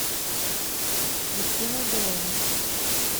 кристиной беловой